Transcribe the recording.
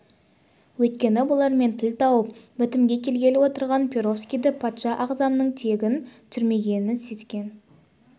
өйткені бұлармен тіл тауып бітімге келгелі отырған перовскийді патша ағзамның тегін түсірмегенін сезген